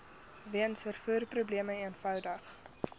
weens vervoerprobleme eenvoudig